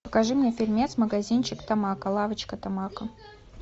покажи мне фильмец магазинчик тамако лавочка тамако